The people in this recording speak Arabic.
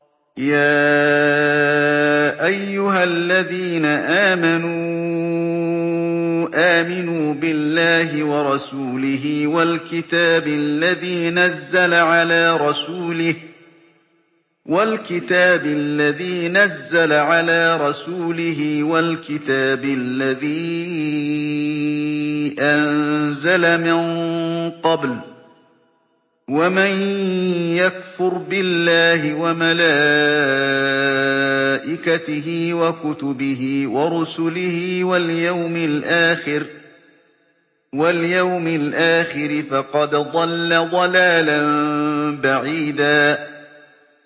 يَا أَيُّهَا الَّذِينَ آمَنُوا آمِنُوا بِاللَّهِ وَرَسُولِهِ وَالْكِتَابِ الَّذِي نَزَّلَ عَلَىٰ رَسُولِهِ وَالْكِتَابِ الَّذِي أَنزَلَ مِن قَبْلُ ۚ وَمَن يَكْفُرْ بِاللَّهِ وَمَلَائِكَتِهِ وَكُتُبِهِ وَرُسُلِهِ وَالْيَوْمِ الْآخِرِ فَقَدْ ضَلَّ ضَلَالًا بَعِيدًا